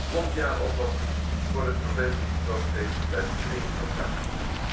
Een mondiale oplossing voor het probleem van de sloopschepen blijft dringend noodzakelijk.